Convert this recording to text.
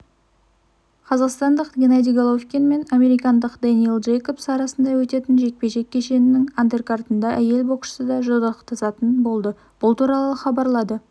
қазақстандық геннадий головкин мен америкалық дэнниэл джейкобс арасында өтетін жекпе-жек кешінің андеркартында әйел боксшы да жұдырықтасатын болды бұл туралы хабарлады